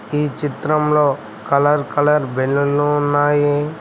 ఈ చిత్రంలో colour colour balloon లు ఉన్నాయి.